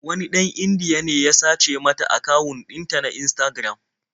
Wani ɗan Indiya ne ya sace mata akawun ɗinta na Instagram.